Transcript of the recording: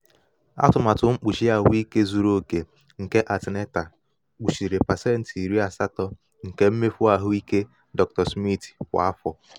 atụmatụ mkpuchi ahụike zuru oke nke aetna kpuchiri pecenti iri asato nke mmefu ahụike dr. smith kwa afọ.